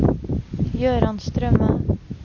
Jøran Strømme